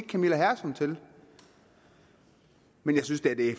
camilla hersom til men jeg synes da at det